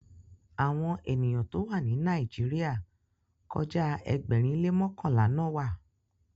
Àwọn ènìyàn to wa ni Nàìjíríà kọja Ẹgbẹrin le mọkanla na wà.